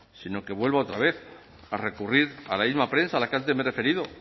sino que vuelva otra vez a recurrir a la misma prensa a la que antes me he referido